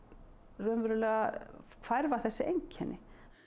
raunverulega hverfa þessi einkenni